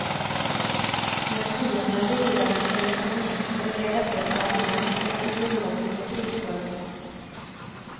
När fienden lierade sig med kommunister blev detta ett argument i den ideologiska krigföringen.